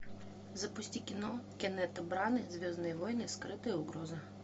запусти кино кеннета браны звездные войны скрытая угроза